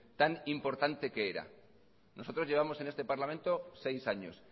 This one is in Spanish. tan importante que era nosotros llevamos en este parlamento seis años